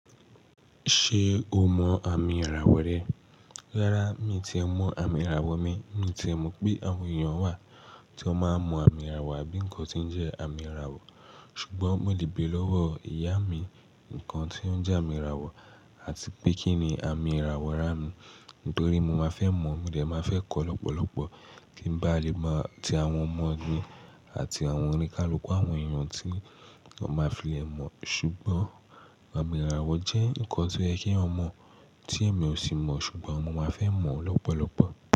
Ṣé o mọ àmì ìràwọ̀ rẹ? Rárá, mi tí è mọ àmì ìràwọ̀ mi. Mi tí mọ̀ pé àwọn èèyàn wà tí ó máa ń mọ àmì ìràwọ̀ àbí ǹkankan tí ń jẹ́ àmì ìràwọ̀. Ṣùgbọ́n mo lé béèrè lọ́wọ́ ìyá mi ǹkan tí ó ń jẹ àmì ìràwọ̀ àti pé kí ni àmì ìràwọ̀ rán mi. Nítorí mo má fẹ́ mọ̀, mo lè má fẹ́ kọ́ lọ́pọ̀lọpọ̀ kí ń bá lè máa ti àwọn ọmọ mi àti àwọn oníkálukú àwọn èèyàn tí ó máa fi è mọ̀. Ṣùgbọ́n àmì ìràwọ̀ jẹ́ ǹkan tó yẹ kí èèyàn mọ tí èmi ò sì mọ̀, ṣùgbọ́n mo má fẹ́ mọ̀ lọ́pọ̀lọpọ̀.